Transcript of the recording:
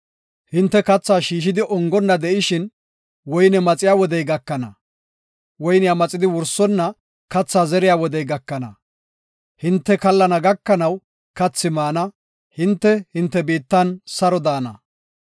Hinte kathaa shiishidi ongonna de7ishin woyne maxiya wodey gakana; woyniya maxidi wursonna kathaa zeriya wodey gakana. Hinte kallana gakanaw kathi maana; hinte, hinte biittan saro daana.